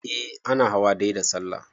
eh ana hawa dai da sallah